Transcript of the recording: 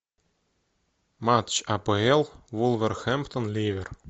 матч апл вулверхэмптон ливер